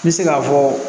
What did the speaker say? N bɛ se k'a fɔ